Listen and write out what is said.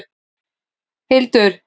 Hildur, hvaða mánaðardagur er í dag?